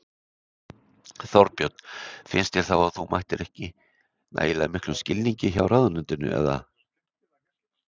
Þorbjörn: Finnst þér þá að þú mætir ekki nægilega miklum skilningi hjá ráðuneytinu eða?